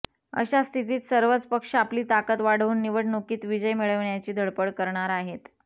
अशा स्थितीत सर्वच पक्ष आपली ताकद वाढवून निवडणुकीत विजय मिळविण्याची धडपड करणार आहेत